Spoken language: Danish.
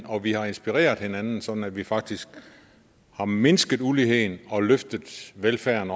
og vi har inspireret hinanden sådan at vi faktisk har mindsket uligheden og løftet velfærden